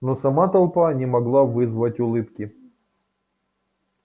но сама толпа не могла вызвать улыбки